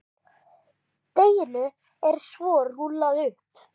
Deiginu er svo rúllað upp.